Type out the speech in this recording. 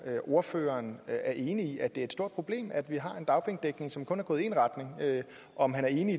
ordføreren er enig i at det er et stort problem at vi har en dagpengedækning som kun er gået i én retning og om han er enig